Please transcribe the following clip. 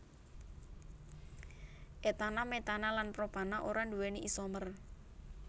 etana metana lan propana ora nduwéni isomer